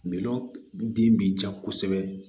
Milɔn den bi ja kosɛbɛ